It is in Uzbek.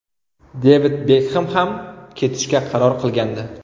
Devid Bekhem ham ketishga qaror qilgandi.